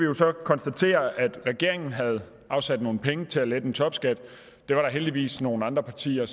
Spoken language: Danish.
jo så konstatere at regeringen havde afsat nogle penge til at lette topskatten dem var der heldigvis nogle andre partier